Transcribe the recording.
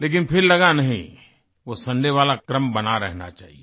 लेकिन फिर लगा नहीं वो सुंदय वाला क्रम बना रहना चाहिये